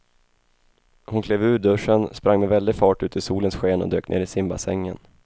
Hon klev ur duschen, sprang med väldig fart ut i solens sken och dök ner i simbassängen.